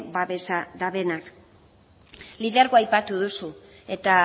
babesa dutenak lidergoa aipatu duzu eta